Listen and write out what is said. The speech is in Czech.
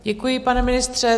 Děkuji, pane ministře.